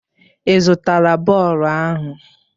Ị zụtara bọọlụ ahụ?